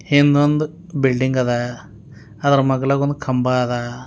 ಹಿಂದೊಂದ್ building ಅದ ಅದರ ಮಗ್ಲಾಗ ಒಂದು ಕಂಬ ಅದ.